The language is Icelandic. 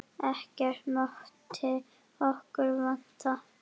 Ekkert mátti okkur vanta.